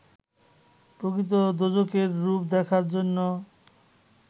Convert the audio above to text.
প্রকৃত দোজখের রূপ দেখার জন্য